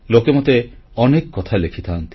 ଲୋକେ ମୋତେ ଅନେକ କଥା ଲେଖିଥାନ୍ତି